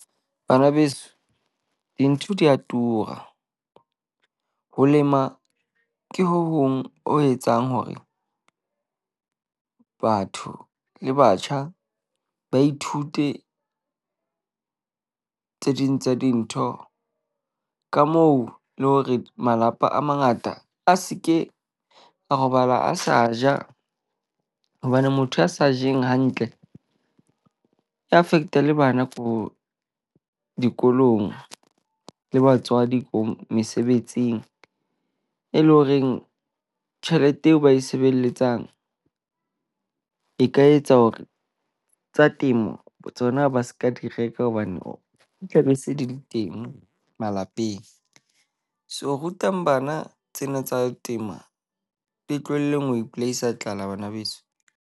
Bana beso dintho di a tura, ho lema ke ho hong o etsang hore batho le batjha ba ithute tse ding tsa dintho ka moo le hore malapa a mangata a se ke a robala a sa ja. Hobane motho ya sa jeng hantle e affect-a le bana ko dikolong le batswadi ko mesebetsing. E leng horeng tjhelete eo ba e sebeletsang, e ka etsa hore tsa temo tsona ba seka di reka hobane o tla be se di le teng malapeng. So rutang bana tsena tsa tema, le tlohelleng ho ipolaisa tlala bana beso.